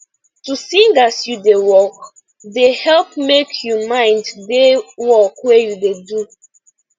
to sing as you da work da help make you mind da work wey you da do